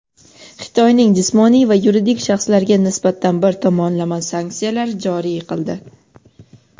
Xitoyning jismoniy va yuridik shaxslariga nisbatan bir tomonlama sanksiyalar joriy qildi.